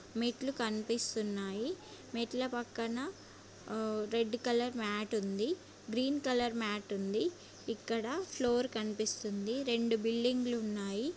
మెట్లు కనిపిస్తున్నాయిమెట్ల పక్కన ఆ రెడ్ కలర్ మాట్ ఉంద గ్రీన్ కలర్ మాట్ ఉంది ఇక్కడ ఫ్లోర్ కనిపిస్తుందిరెండు బిల్డింగ్లు ఉన్నాయి.